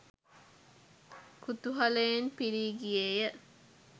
කුතුහලයෙන් පිරී ගියේය.